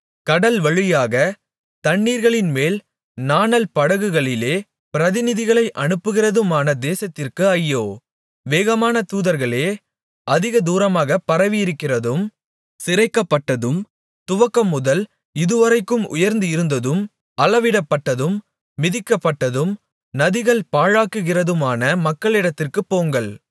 கடல்வழியாகத் தண்ணீர்களின்மேல் நாணல் படகுகளிலே பிரதிநிதிகளை அனுப்புகிறதுமான தேசத்திற்கு ஐயோ வேகமான தூதர்களே அதிக தூரமாகப் பரவியிருக்கிறதும் சிரைக்கப்பட்டதும் துவக்கமுதல் இதுவரைக்கும் உயர்ந்து இருந்ததும் அளவிடப்பட்டதும் மிதிக்கப்பட்டதும் நதிகள் பாழாக்குகிறதுமான மக்களிடத்திற்குப் போங்கள்